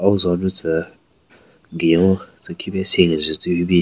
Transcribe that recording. Auo zo nyu tsü gunyo tsü khipe sen kenjün tsü hyu bin.